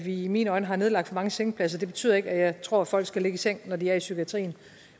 i mine øjne har nedlagt for mange sengepladser og det betyder ikke at jeg tror folk skal ligge i seng når de er i psykiatrien